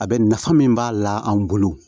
A bɛ nafa min b'a la an bolo